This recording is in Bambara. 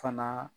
Fana